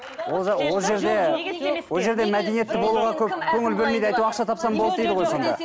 ол жақ ол жерде ол жерде мәдениетті болуға көп көңіл бөлмейді әйтеуір ақша тапсаң болды дейді ғой сонда